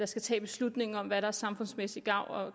skal tage beslutningen om hvad der samfundsmæssig gavn og